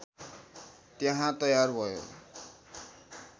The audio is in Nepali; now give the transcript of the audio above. त्यहाँ तयार भयो